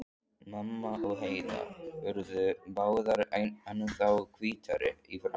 Mamma og Heiða urðu báðar ennþá hvítari í framan.